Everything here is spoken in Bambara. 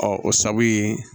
Ɔ o sabu ye